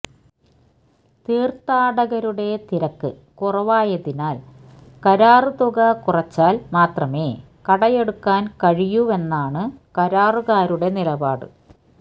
തീര്ത്ഥാടകരുടെ തിരക്ക് കുറവായതിനാല് കരാര് തുക കുറച്ചാല് മാത്രമേ കടയെടുക്കാന് കഴിയൂവെന്നാണ് കരാറുകാരുടെ നിലപാട്